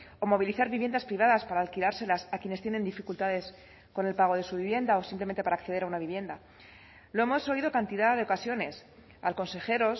o movilizar viviendas privadas para alquilárselas a quienes tienen dificultades con el pago de su vivienda o simplemente para acceder a una vivienda lo hemos oído cantidad de ocasiones al consejero